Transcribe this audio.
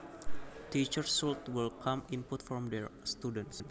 Teachers should welcome input from their students